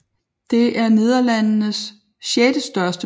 Det er Nederlandenes sjette største provins målt på antal indbyggere